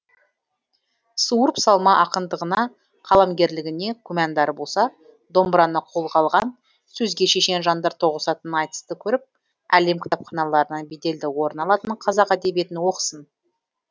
суырып салма ақындығына қаламгерлігіне күмәндері болса домбыраны қолға алған сөзге шешен жандар тоғысатын айтысты көріп әлем кітапханаларынан беделді орын алатын қазақ әдебиетін оқысын